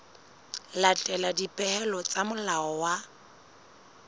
latela dipehelo tsa molao wa